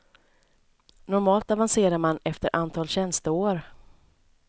Normalt avancerar man efter antal tjänsteår.